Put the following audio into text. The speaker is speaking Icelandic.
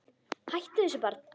Hættu þessu barn!